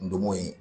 Ndomo ye